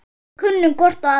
Við kunnum hvor á aðra.